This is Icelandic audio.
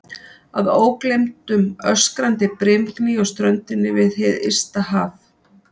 Að ógleymdum öskrandi brimgný á ströndinni við hið ysta haf.